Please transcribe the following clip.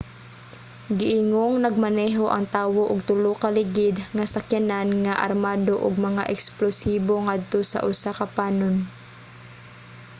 giingong nagmaneho ang tawo og tulo ka ligid nga sakyanan nga armado og mga eksplosibo ngadto sa usa ka panon